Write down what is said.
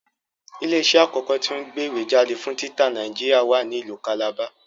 Ilé iṣẹ́ àkọ́kọ́ tí o ń gbé ìwé jáde fún títa Nàìjíríà wa ní ìlú Calabar